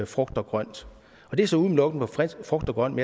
frugt og grønt det er så udelukkende for frugt og grønt